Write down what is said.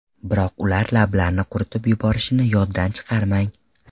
Biroq ular lablarni quritib yuborishini yoddan chiqarmang.